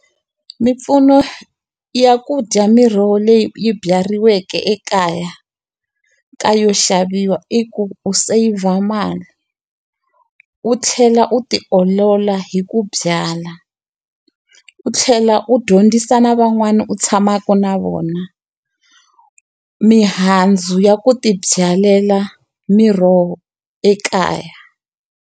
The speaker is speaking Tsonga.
Mimpfuno ya ku dya miroho leyi yi byariweke ekaya ka yo xaviwa i ku u seyivha mali, u tlhela u ti olola hi ku byala. U tlhela u dyondzisa na van'wani u tshamaka na vona, mihandzu ya ku ti byalela miroho ekaya.